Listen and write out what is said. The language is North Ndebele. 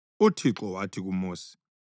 UThixo wathi kuMosi,